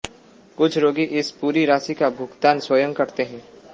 कुछ रोगी इस पूरी राशि का भुगतान स्वयं करते हैं